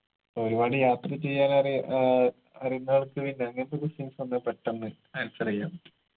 ഒരുപാട് യാത്ര ചെയ്യാനറിയ ഏർ അറിയുന്നാൾക്ക് പിന്നെ അങ്ങനത്ത questions വന്നാ പെട്ടെന്ന് answer എയ്യാൻ പറ്റും